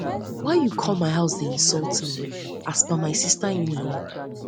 why you come my house dey insult me as per my sister inlaw